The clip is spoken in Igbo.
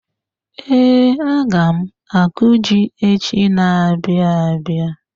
Ee, aga m akụ ji echi n'abia abịa